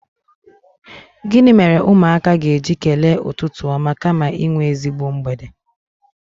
Gịnị mere ụmụaka ga-eji kelee ụtụtụ ọma kama inwe ezigbo mgbede?